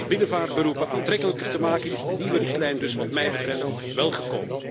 Om binnenvaartberoepen aantrekkelijker te maken, is de nieuwe richtlijn dus wat mij betreft welkom.